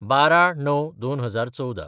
१२/०९/२०१४